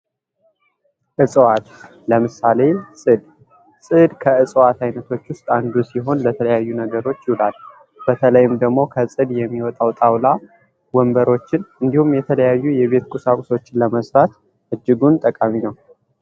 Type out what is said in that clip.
እጽዋት ለምሳሌ ፅድ ፅድ ከእፅዋት አይነቶች ውስጥ አንዱ ሲሆን ስለተለያዩ ነገሮች ይውላል። በተለይም ደግሞ ከፅድ የሚወጣው ጣውላ ወንበሮችን እንዲሁም የተለያዩ የቤት ቁሳቁሶችን ለመስራት እጅጉን ጠቃሚ ነው።